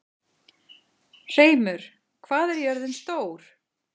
Hreimur, hvað er jörðin stór?